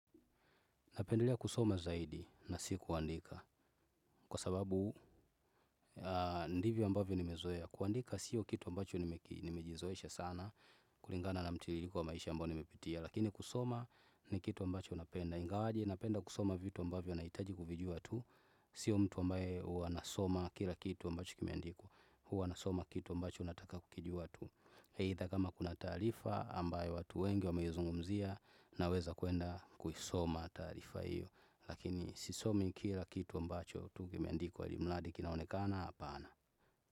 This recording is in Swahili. Napendelea kusoma zaidi na si kuandika kwa sababu ndivyo ambavyo nimezoea. Kuandika sio kitu ambacho nimejizoesha sana kulingana na mtililiko wa maisha ambayo nimepitia. Lakini kusoma ni kitu ambacho napenda. Ingawaje, napenda kusoma vitu ambavyo nahitaji kuvijua tu. Sio mtu ambaye huwa anasoma kila kitu ambacho kimeandikwa. Huwa nasoma kitu ambacho nataka kukijua tu. Eitha kama kuna taarifa ambayo watu wengi wameizungumzia na weza kwenda kuisoma taarifa hiyo. Lakini sisomi kila kitu ambacho tu kimeandikwa ilimladi kinaonekana apana.